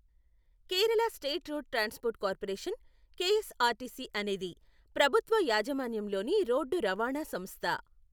Kerala state road transport corporation, KSRTC అనేది ప్రభుత్వ యాజమాన్యంలోని రోడ్డు రవాణా సంస్థ.